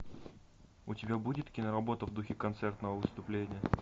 у тебя будет киноработа в духе концертного выступления